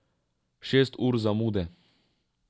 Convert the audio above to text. Šest ur zamude.